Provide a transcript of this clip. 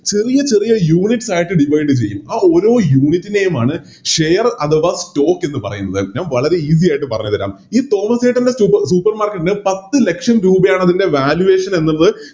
ചെറിയ ചെറിയ Unites ആയിട്ട് Divide ചെയ്യും ആ ഓരോ Unit നെയുമാണ് Share അഥവാ Stock എന്ന് പറയുന്നത് ഞാ വളരെ Easy ആയിട്ട് പറഞ്ഞ് തെരാം ഈ തോമാസേട്ടൻറെ Supermarket ന് പത്ത്ലക്ഷം രൂപയാണത്തിൻറെ Valuation എന്നുള്ളത്